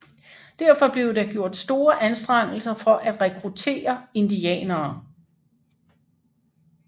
Derfor blev der gjort store anstrengelser for at rekruttere indianere